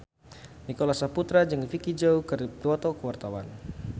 Nicholas Saputra jeung Vicki Zao keur dipoto ku wartawan